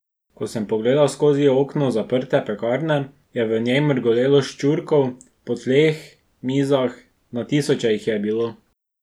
Ko sem pogledal skozi okno zaprte pekarne, je v njej mrgolelo ščurkov, po tleh, mizah, na tisoče jih je bilo.